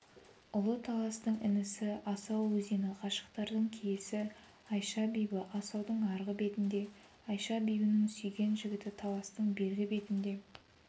ұлы таластың інісі асау өзені ғашықтардың киесі айша-бибі асаудың арғы бетінде айша-бибінің сүйген жігіті таластың бергі бетінде